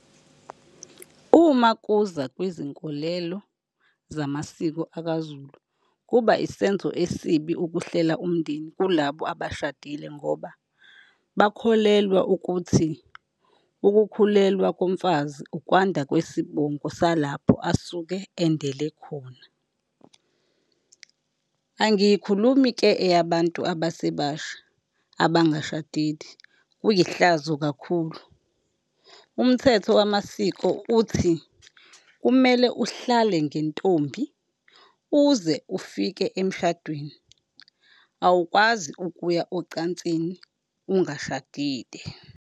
Uma kuza kwizinkolelo zamasiko akwaZulu, kuba isenzo esibi ukuhlela umndeni kulabo abashadile ngoba bakholelwa ukuthi ukukhulelwa komfazi ukwanda kwesibongo salapho asuke endele khona. Angiyikhulumi-ke eyabantu abasebasha abangashadile, kuyihlazo kakhulu. Umthetho wamasiko uthi, kumele uhlale ngentombi uze ufike emshadweni, awukwazi ukuya ocansini ungashadile.